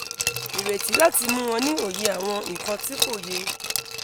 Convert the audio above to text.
ireti lati mu o ni oye awon ikan ti ko ye!